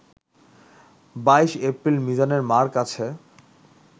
২২এপ্রিল মিজানের মার কাছে